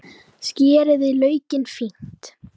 Skerið laukinn fínt.